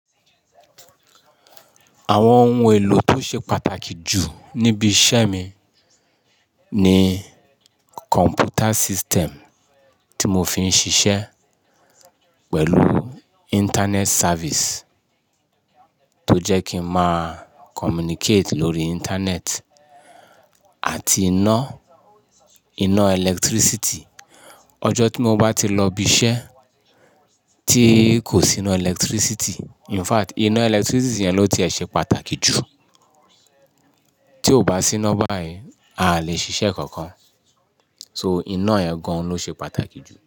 Àwọn ohun èlò tó ṣe pàtàkì jù níbi iṣẹ́ mi ni computer system tí mo fi ń ṣiṣẹ́ pẹ̀lú internet service tó jẹ́ kí n máa communicate lórí internet àti iná, iná ẹlẹtírísìtì. Ọjọ́ tí mo bá ti lọ ibi iṣẹ́ tí kò sí iná ẹlẹtírísítì in fact iná ẹlẹtírísítì yẹn ló ti ṣe pàtàkì jù. Tí ó bá sí iná báyìí, a lè ṣiṣẹ́ kankan. So iná yen gan lo se pàtàkì jù.